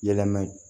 Yɛlɛma